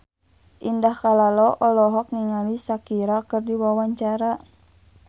Indah Kalalo olohok ningali Shakira keur diwawancara